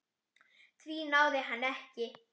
Því náði hann ekki.